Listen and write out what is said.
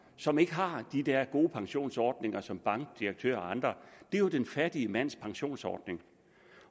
som ikke har de der gode pensionsordninger som bankdirektører og andre det er jo den fattige mands pensionsordning